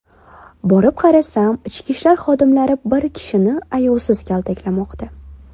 Borib qarasam, ichki ishlar xodimlari bir kishini ayovsiz kaltaklamoqda.